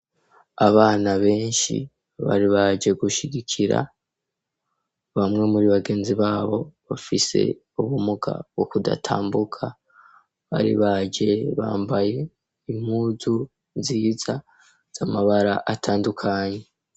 Abana ,benshi, bari baje, gushigikira bamwe muri bagenzi babo, bafise ubumuga, bwo kudatambuka ,bari baje bambaye ,impuzu nziza, z'Amabara atandukanye.